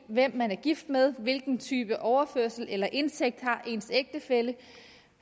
hvem man er gift med hvilken type overførselsindkomst eller indtægt ens ægtefælle